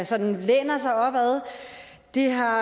sådan læner sig op ad det har